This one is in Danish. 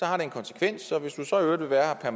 har det en konsekvens og hvis man så i øvrigt vil være her